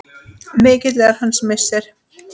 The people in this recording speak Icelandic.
Mikill er hans missir.